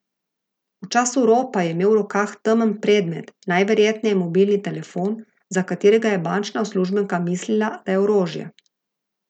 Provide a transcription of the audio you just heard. V času ropa je imel v rokah temen predmet, najverjetneje mobilni telefon, za katerega je bančna uslužbenka mislila, da je orožje.